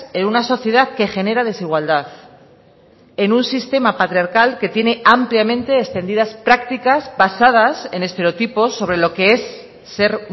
en una sociedad que genera desigualdad en un sistema patriarcal que tiene ampliamente extendidas prácticas basadas en estereotipos sobre lo que es ser